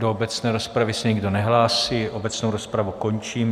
Do obecné rozpravy se nikdo nehlásí, obecnou rozpravu končím.